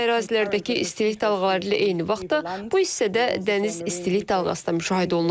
Quru ərazilərdəki istilik dalğaları ilə eyni vaxtda bu hissədə dəniz istilik dalğası da müşahidə olunub.